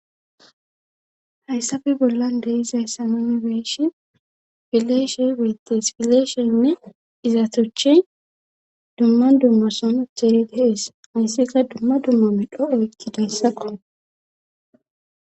Hayssafe bollan de izayssa mimibeyshin fileshe wettes pileeshenne izatoche dumma dumma som thehida hees hayssika dumma dumma midho oykkidayssaqo